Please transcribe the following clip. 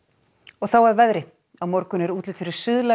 þá að veðri á morgun er útlit fyrir